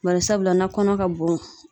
Bari sabula na kɔnɔ ka bon.